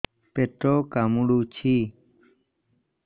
ପେଟ କାମୁଡୁଛି